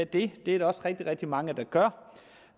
det er der også rigtig rigtig mange der gør